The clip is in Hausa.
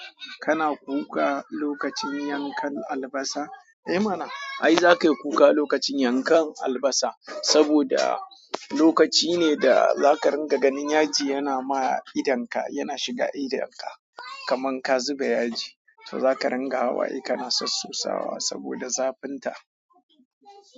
Kana kuka lokacin yankan albasa? Eh mana. Ai zaka yi kuka lokacin yankan albasa, saboda lokaci ne da zaka ringa ganin yaji yana ma idonka, yana shiga idonka. Kaman ka zuba yaji, to zaka ringa hawaye kana sassosawa saboda zafinta.